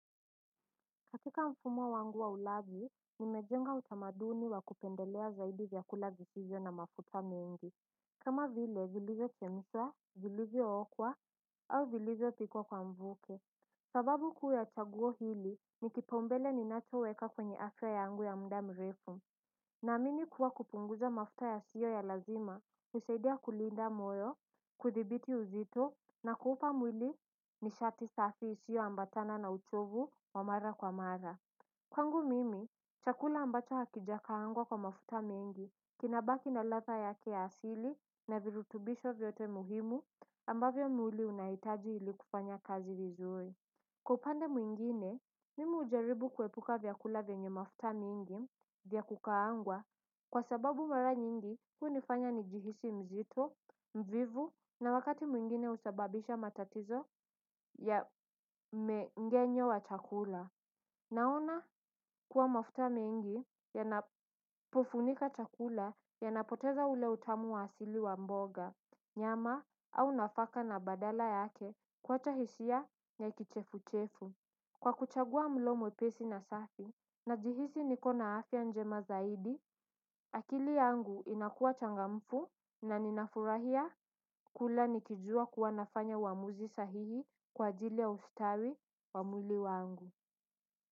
Katika mfumo wangu wa ulaji nimejenga utamaduni wa kupendelea zaidi vyakula visivyo na mafuta mengi. Kama vile zilizo chemshwa, zilizookwa au zilizopikwa kwa mvuke. Sababu kuwe na chaguo hili ni kipaombele ninachoweka kwenye afya yangu ya muda mrefu. Naamini kuwa kupunguza mafuta yasiyo ya lazima, husaidia kulinda moyo, kuthibiti uzito, na kuupa mwili nishati safi isiyoambatana na uchovu wa mara kwa mara. Kwangu mimi, chakula ambacho hakijakaangwa kwa mafuta mengi, kinabaki na ladha yake ya asili na virutubisho vyote muhimu ambavyo mwili unahitaji ilikufanya kazi vizuri. Kwa upande mwingine, mimi hujaribu kuepuka vyakula vyenye mafuta miingi vya kukaangwa kwa sababu mara nyingi hunifanya nijihisi mzito, mvivu na wakati mwingine husababisha matatizo ya mengenyo wa chakula. Naona kuwa mafuta mengi yanapofunika chakula yanapoteza ule utamu wa asili wa mboga, nyama au nafaka na badala yake kuwacha hisia ya kichefuchefu. Kwa kuchagua mlo mwepesi na safi najihisi niko na hafya njema zaidi akili yangu inakuwa changamfu na ninafurahia kula nikijua kuwa nafanya uamuzi sahihi kwa ajili ya ustawi wa mwili wangu.